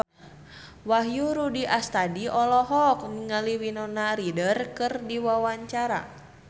Wahyu Rudi Astadi olohok ningali Winona Ryder keur diwawancara